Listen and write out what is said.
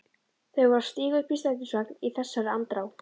Þau voru að stíga upp í strætisvagn í þessari andrá.